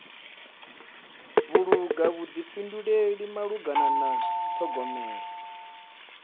vhulunga vhuḓifhinduleli malugana na ṱhogomelo